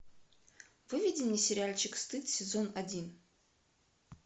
выведи мне сериальчик стыд сезон один